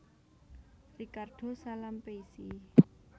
Ricardo Salampessy